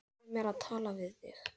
Leyfðu mér að tala við þig!